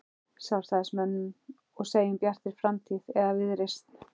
Sjálfstæðismönnum og segjum Bjartri framtíð eða Viðreisn?